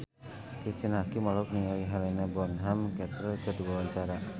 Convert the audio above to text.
Cristine Hakim olohok ningali Helena Bonham Carter keur diwawancara